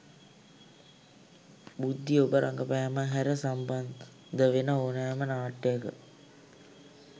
බූන්දි ඔබ රඟපෑම හැර සම්බන්ධවෙන ඕනෑම නාට්‍යයක